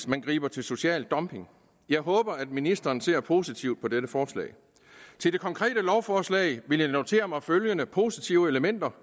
man griber til social dumping jeg håber at ministeren ser positivt på dette forslag til det konkrete lovforslag vil jeg notere mig følgende positive elementer